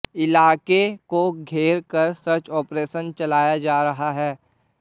इलाके को घेर कर सर्च ऑपरेशन चलाया जा रहा है